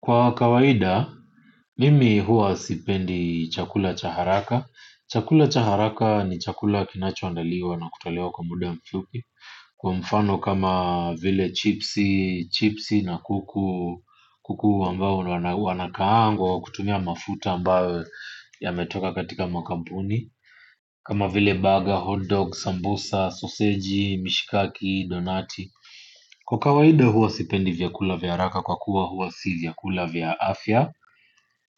Kwa kawaida, mimi huwa sipendi chakula cha haraka. Chakula cha haraka ni chakula kinacho andaliwa na kutolewa kwa muda mfupi. Kwa mfano kama vile chipsi na kuku, kuku ambao wanakaangwa, kutumia mafuta ambao yametoka katika makampuni. Kama vile baga, hotdog, sambusa, soseji, mishikaki, donati. Kwa kawaida huwa sipendi vyakula vya haraka kwa kuwa hua si vyakula vya afya.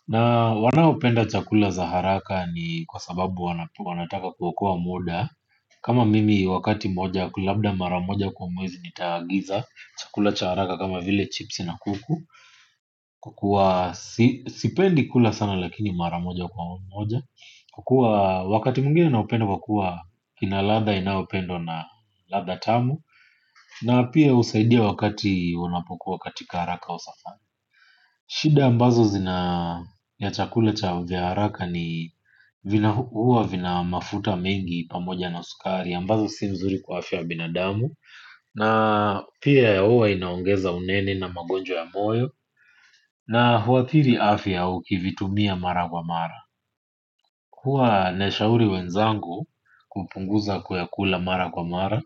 Na wanaopenda chakula za haraka ni kwa sababu wanataka kuokoa muda kama mimi wakati moja labda mara moja kwa mwezi nitaagiza chakula cha haraka kama vile chipsi na kuku kwa kuwa sipendi kula sana lakini mara moja kwa moja kukua wakati mwingine naupenda kwa kuwa kina ladha inao pendwa na ladha tamu na pia husaidia wakati unapokuwa katika haraka au safari. Shida ambazo zina ya chakula cha vya haraka ni huwa vina mafuta mengi pamoja na sukari ambazo si nzuri kwa afya ya binadamu na pia huwa inaongeza unene na magonjwa ya moyo na huathiri afya ukivitumia mara kwa mara. Huwa nashauri wenzangu kupunguza kuyakula mara kwa mara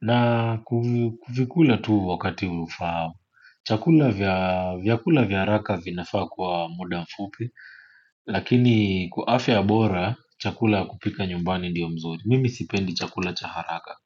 na kuvikula tu wakati ufao chakula vya vyakula vya haraka vinafaa kuwa wa muda mfupi lakini kwa afya bora chakula ya kupika nyumbani ndiyo mzuri mimi sipendi chakula cha haraka.